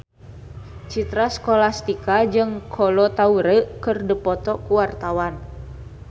Citra Scholastika jeung Kolo Taure keur dipoto ku wartawan